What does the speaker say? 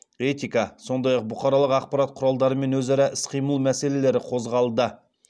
этика сондай ақ бұқаралық ақпарат құралдарымен өзара іс қимыл мәселелері қозғалды